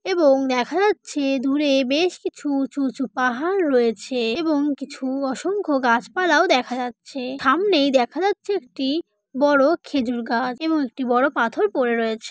এবং দেখা যাচ্ছে দুরে বেশ কিছু উঁচু উঁচু পাহাড় রয়েছে এবং কিছু অসংখ্য গাছপালাও দেখা যাচ্ছে থামনেই দেখা যাচ্ছে একটি বড় খেজুর গাছ এবং একটি বড় পাথর পড়ে রয়েছে।